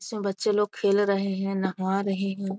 सब बच्चे लोग खेल रहें हैं नहा रहें हैं।